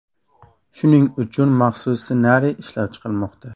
Shuning uchun maxsus ssenariy ishlab chiqilmoqda.